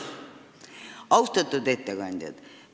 Austatud ettekandjad!